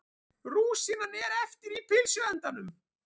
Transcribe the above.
Rúsínan er eftir í pylsuendanum.